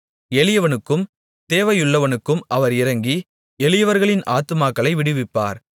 எளியவனுக்கும் தேவையுள்ளவனுக்கும் அவர் இரங்கி எளியவர்களின் ஆத்துமாக்களை விடுவிப்பார்